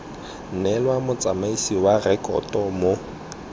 neelwa motsamaisi wa direkoto mo